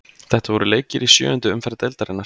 Þetta voru leikir í sjöundu umferð deildarinnar.